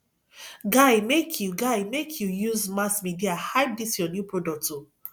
guy make you guy make you use mass media hype dis your new product o